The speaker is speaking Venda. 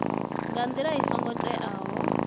nga ndila i songo teaho